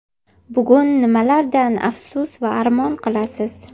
Bugun nimalardan afsus va armon qilasiz?